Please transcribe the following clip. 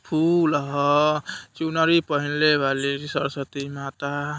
फूल ह चुनरी पहिनले बाली सरस्वती माता।